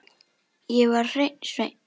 Ég var hreinn sveinn.